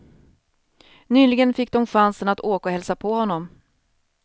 Nyligen fick de chansen att åka och hälsa på honom.